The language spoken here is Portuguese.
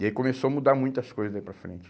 E aí começou a mudar muitas coisas daí para frente.